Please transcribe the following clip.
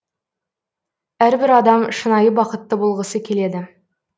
әрбір адам шынайы бақытты болғысы келеді